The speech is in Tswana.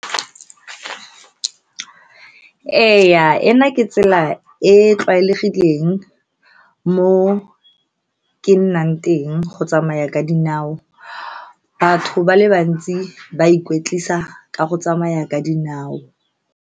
Ee, ena ke tsela e e tlwaelegileng mo ke nnang teng, go tsamaya ka dinao. Batho ba le bantsi ba ikwetlisa ka go tsamaya ka dinao.